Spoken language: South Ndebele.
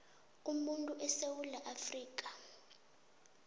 umuntu esewula afrika